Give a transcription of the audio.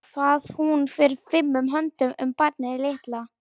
Hvað hún fer fimum höndum um barnið litla.